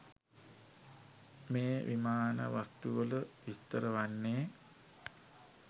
මේ විමාන වස්තුවල විස්තර වන්නේ